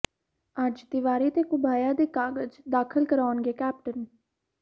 ਅੱਜ ਤਿਵਾੜੀ ਤੇ ਘੁਬਾਇਆ ਦੇ ਕਾਗ਼ਜ਼ ਦਾਖ਼ਲ ਕਰਾਉਣਗੇ ਕੈਪਟਨ